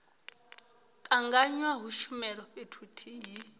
tanganywa ha tshumelo fhethu huthihi